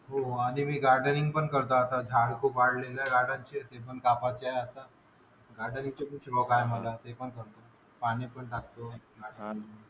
हो आणि मी गार्डनिंग पण करतो आता. झाड खूप वाढलेलं आहे आता. आणि शेती पण कापायची आहे आता. गार्डनिंग काय आता ते पण करतो.